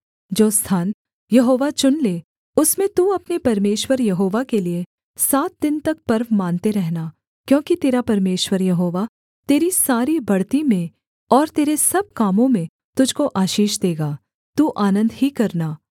जो स्थान यहोवा चुन ले उसमें तू अपने परमेश्वर यहोवा के लिये सात दिन तक पर्व मानते रहना क्योंकि तेरा परमेश्वर यहोवा तेरी सारी बढ़ती में और तेरे सब कामों में तुझको आशीष देगा तू आनन्द ही करना